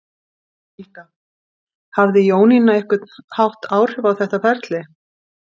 Helga: Hafði Jónína á einhvern hátt áhrif á þetta ferli?